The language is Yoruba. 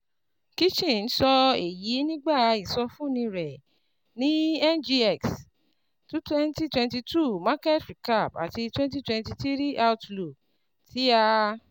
Kitchen sọ èyí nígbà ìsọfúnni rẹ̀ ní NGXs 2022 Market Recap àti 2023 Outlook tí a